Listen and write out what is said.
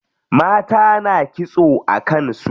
Mata na kitso a kan su.